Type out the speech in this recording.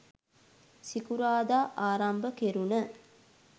සිකුරාදා ආරම්භ කෙරුණ